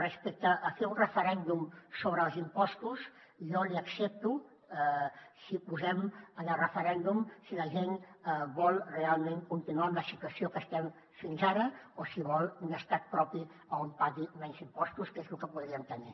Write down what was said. respecte a fer un referèndum sobre els impostos jo l’hi accepto si posem en el referèndum si la gent vol realment continuar amb la situació que estem fins ara o si vol un estat propi on pagui menys impostos que és lo que podríem tenir